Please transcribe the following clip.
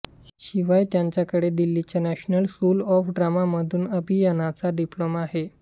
शिवाय त्यांच्याकडे दिल्लीच्या नॅशनल स्कूल ऑफ ड्रामामधून अभिनयाचा डिप्लोमा आहे